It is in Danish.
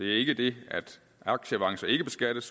ikke det at aktieavancer ikke beskattes